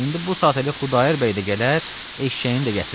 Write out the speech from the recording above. İndi bu saat Xudayar bəy də gələr, eşşəyini də gətirər.